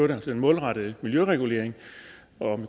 den målrettede miljøregulering